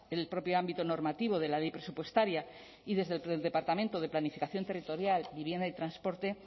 el propio ámbito normativo de la ley presupuestaria y desde el departamento de planificación territorial vivienda y transporte